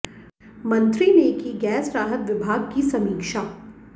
मंत्री ने की गैस राहत विभाग की समीक्षा